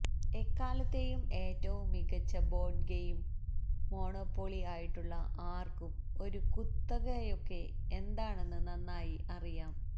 എക്കാലത്തേയും ഏറ്റവും മികച്ച board game Monopoly ആയിട്ടുള്ള ആർക്കും ഒരു കുത്തകയൊക്കെ എന്താണെന്ന് നന്നായി അറിയാം